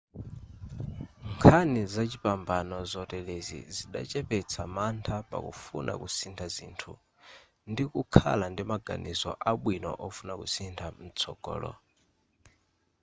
nkhani zachipambano zoterezi zidachepetsa mantha pakufuna kusintha zinthu ndikukhala ndi maganizo abwino ofuna kusintha mtsogolo